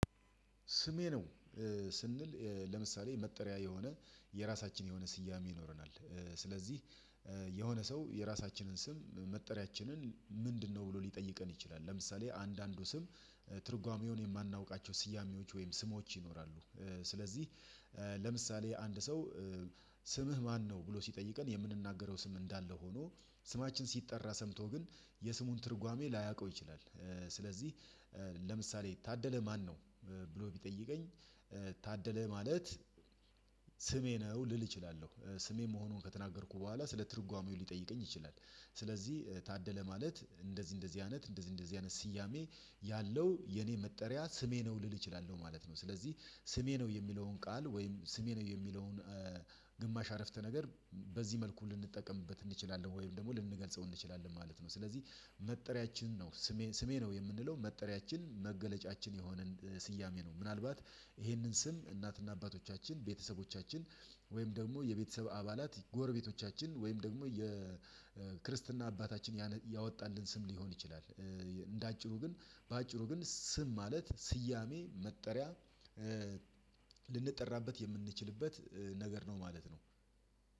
ስሜ ነው። ስንል ለምሳሌ መጠሪያ የሆነ የራሳችን የሆነ ስያሜ ይኖረናል ስለዚህ የሆነ ሰው የራሳችንን ስም መጠሪያችንን ምንድነው? ብሎ ሊጠይቀን ይችላል። ለምሳሌ አንዳንዱ ስም ትርጓሜውን የማናውቃቸው ስያሜዎች ወይም ስሞች ይኖራሉ። ስለዚህ ለምሳሌ አንድ ሰው ስምህ ማነው? ብሎ ሲጠይቀን የምንናገረው ስም እንዳለ ሆኖ ስማችን ሲጠራ ሰምቶ ግን የስሙን ትርጓሜ ላያውቀው ይችላል። ስለዚህ ለምሳሌ ታደለ ማነው? ብሎ ቢጠይቀኝ ታደለ ማለት ስሜ ነው ልል እችላለሁ። ስሜ መሆኑን ከተናገርኩ በኋላ ስለ ትርጓሜው ሊጠይቀኝ ይችላል። ስለዚህ ታደለ ማለት እንደዚህ እንደዚህ አይነት እንደዚህ እንደዚህ አይነት ስያሜ ያለው የኔ መጠሪያ ስሜ ነው ልል እችላለሁ ማለት ነው። ስለዚህ ስሜ ነው የሚለውን ቃል ወይም ስሜ ነው የሚለውን ግማሽ አረፍተ ነገር በዚህ መልኩ ልንጠቀምበት እንችላለን ወይም ደግሞ ልንገልጸው እንችላለን ማለት ነው። ስለዚህ መጠሪያችን ነው። ስሜ ስሜ ነው የምንለው መጠሪያችን መገለጫችን የሆነን ስያሜ ነው። ምናልባት ይህንን ስም እናትና አባቶቻችን ቤተሰቦቻችን ወይም ደግሞ የቤተሰብ አባላት ጎረቤቶቻችን ወይም ደግሞ የክርስትና አባታችን ያወጣልን ስም ሊሆን ይችላል። እንደ አጭሩ ግን በአጭሩ ግን ስም ማለት ስያሜ መጠሪያ ልንጠራበት የምንችልበት ነገር ነው ማለት ነው።